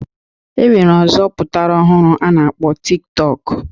E nwere ọzọ pụtara ọhụrụ a na-akpọ Tik tọk